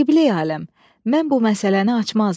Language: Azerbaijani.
Qibleyi aləm, mən bu məsələni açmazdım.